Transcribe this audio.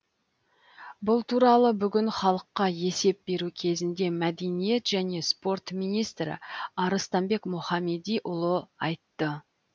бұл туралы бүгін халыққа есеп беру кезінде мәдениет және спорт министрі арыстанбек мұхамедиұлы айтты